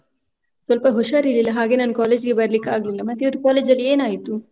ಸ್ವಲ್ಪ ಉಷಾರಿರಲಿಲ್ಲ ಹಾಗೆ ನಾನ್ college ಗೆ ಬರ್ಲಿಕ್ಕಾಗ್ಲಿಲ್ಲ. ಮತ್ತೆ ಇವತ್ತು college ಲ್ಲಿ ಏನಾಯ್ತು?